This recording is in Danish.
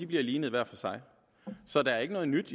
bliver lignet hver for sig så der er ikke noget nyt